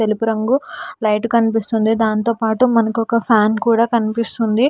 తెలుపు రంగు లైట్ కనిపిస్తుంది దాంతోపాటు మనకు ఒక ఫ్యాన్ కూడా కనిపిస్తుంది.